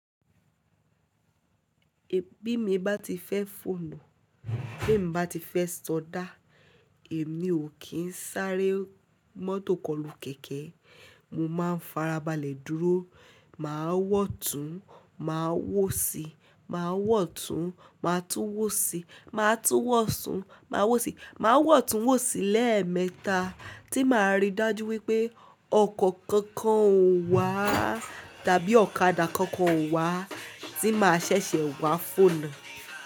Bí mo bá ti fẹ́ fònà, bemí bá ti fẹ́ sọdá, èmi ò kí ń sáré mọ́tò kọlù kẹ̀kẹ́. Mo máa ń farabalẹ̀ dúró, màá wọ̀tún, màá wòsí, màá wọ̀tún, màá tún wòsí, màá tún wọ̀sún, màá wòsí, màá wọ̀tún wòsí lẹ́ẹ̀mẹta tí màá rí dájú wípé ọkọ̀ kankan ò wà tàbí ọ̀kadà kankan ò wà tí máa ṣẹ̀ṣẹ̀ wá fònà.